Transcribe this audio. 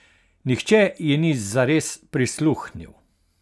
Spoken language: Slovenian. Nihče ji ni zares prisluhnil.